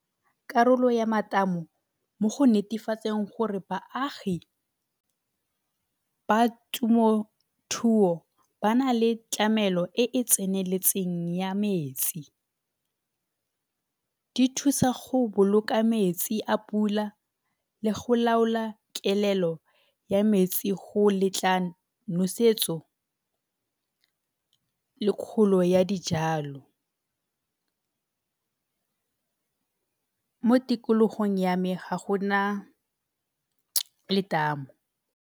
Karolo ya matamo mo go netefatseng gore baagi ba ba na le tlamelo e e tseneletseng ya metsi. Di thusa go boloka metsi a pula le go laola kelelo ya metsi go letla nosetso le kgolo ya dijalo. mo tikologong ya me ga gona letamo.